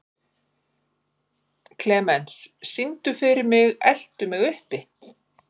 Klemens, syngdu fyrir mig „Eltu mig uppi“.